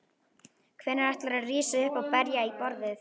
Hvenær ætlarðu að rísa upp og berja í borðið?